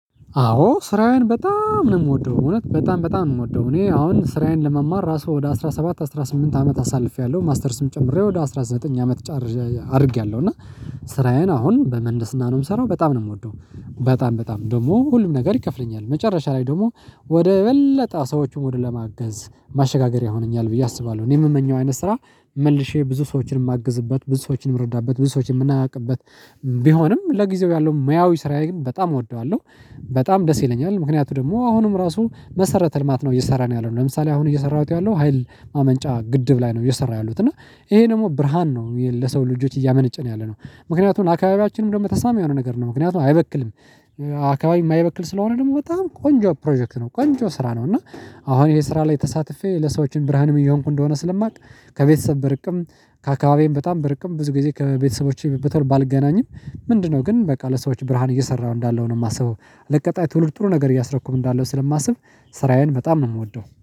አዎ ስራዬን በጣም ነው የምወደው እውነት በጣም በጣም ነው የምወደው። እኔ አሁን ስራዬን ለመማር ራሱ ወደ አስራ ሰባት አስራ ስምንት አመት አሳልፌያለሁ ማስተርስም ጨምሬ ወደ አስራ ዘጠኝ አመት ጫር አድርጌያለሁ። እና ስራዬን አሁን በመንደስና ነው የምሰራው በጣም ነው የምወደው በጣም በጣም ደግሞ ሁሉም ነገር ይከፍለኛል መጨረሻ ላይ ደግሞ ወደ በለጠ ሰዎቹን ወደ ለማገዝ ማሸጋገሪያ ሆነኛል ብዬ አስባለው። እኔ የምመኘው አይነት ስራ መልሼ ብዙ ሰዎችን የማግዝበት ብዙ ሰዎችን የምረዳበት ብዙ ሰዎችን የምናውቅበት ቢሆንም ለጊዜው ያለው ሙያዊ ስራዬን በጣም እወደዋለዉ። በጣም ደስ ይለኛል ምክንያቱ ደግሞ አሁንም ራሱ መሰረተ ልማት ነው እየሰራን ያለነው ለምሳሌ አሁን እየሰራሁት ያለው ሀይል ማመንጫ ግድብ ላይ ነው አየሰራው ያለዉት እና ይሄ ደግሞ ብርሃን ነው ለሰው ልጆች እያመነጨ ነው ያለነው። ምክንያቱም አካባቢያችንም እንደውም ተስማሚ የሆነ ነገር ነው ምክንያቱም አይበክልም። አከባቢ የማይበክል ስለሆነ ደግሞ በጣም ቆንጆ ፕሮጀክት ነው ቆንጆ ስራ ነው እና አሁን ይሄ ስራ ላይ ተሳትፌ ለሰዎችም ብርሃንም እየሆንኩ እንደሆነ ስለማቅ ከቤተሰብ በርቅም ከአካባቢዬ በጣም በርቅም ብዙ ጊዜ ከቤተሰቦቼ በቶል ባልገናኝም ምንድነው ግን በቃ ለሰዎች ብርሃን እየሰራሁ እንዳለው ነው የማስበው ለቀጣይ ትውልድ ጥሩ ነገር እያሰብኩም እንዳለው ስለማስብ ስራዬን በጣም ነው የምወደው።